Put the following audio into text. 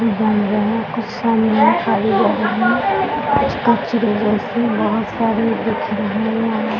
बन रहे है बहुत सारे दिख रहे है यहाँ |